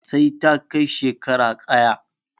Sai ta kai shekara ƙaya